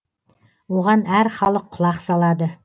оған әр халық құлақ салады